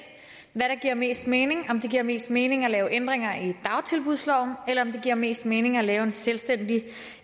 hvad der giver mest mening om det giver mest mening at lave ændringer i dagtilbudsloven eller om det giver mest mening at lave en selvstændig